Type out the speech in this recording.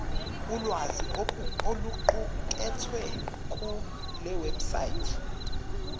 ulwazi oluqukethwe kulewebsite